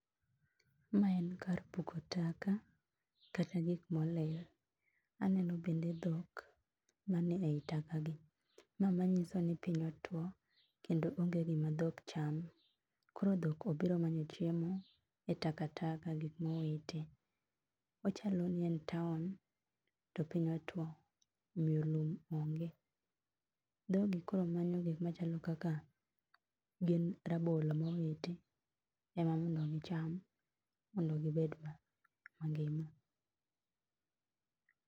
Mae en kar puko taka kata gik molil. Aneno bende dhok mani ei taka gi. Ma manyiso ni piny otuo kendo onge gima dhok chamo. Koro dhok obiro manyo chiemo e takataka, gik mowiti. Ochalo ni en town to piny otuo omiyo lum onge. Dhogi koro manyo gik machalo kaka gin rabolo mowiti ema mondo gicham mondo gibed mangima.